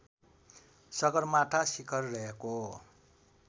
सगरमाथा शिखर रहेको